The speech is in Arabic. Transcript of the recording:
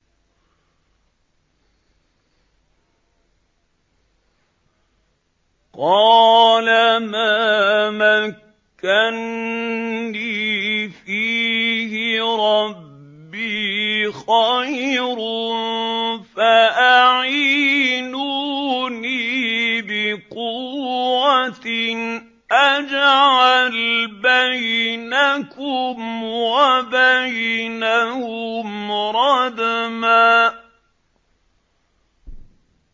قَالَ مَا مَكَّنِّي فِيهِ رَبِّي خَيْرٌ فَأَعِينُونِي بِقُوَّةٍ أَجْعَلْ بَيْنَكُمْ وَبَيْنَهُمْ رَدْمًا